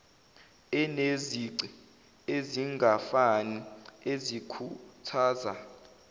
enezici ezingafani ezikhuthaza